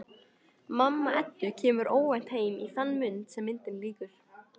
Mamma Eddu kemur óvænt heim í þann mund sem myndinni lýkur.